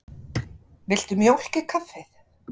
Viltu mjólk í kaffið?